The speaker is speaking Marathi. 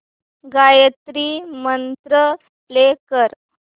गायत्री मंत्र प्ले कर